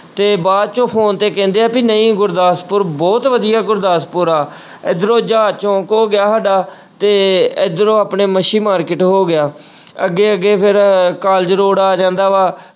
ਤੇ ਬਾਅਦ ਚੋਂ phone ਤੇ ਕਹਿੰਦੇ ਆ ਵੀ ਨਹੀਂ ਗੁਰਦਾਸਪੁਰ ਬਹੁਤ ਵਧੀਆ ਗੁਰਦਾਸਪੁਰ ਆ ਇੱਧਰੋਂ ਜਹਾਜ਼ ਚੌਂਕ ਹੋ ਗਿਆ ਸਾਡਾ ਤੇ ਇੱਧਰੋਂ ਆਪਣੇ ਮੱਛੀ market ਹੋ ਗਿਆ ਅੱਗੇ ਅੱਗੇ ਫਿਰ college road ਆ ਜਾਂਦਾ ਵਾ,